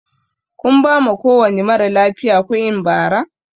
Kun bama kowani maralafiya kuinn Bara?